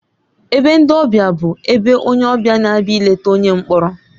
Ebe ndị ọbịa bụ ebe onye ọbịa na-abịa ileta onye mkpọrọ.